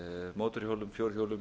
mótorhjólum fjórhjólum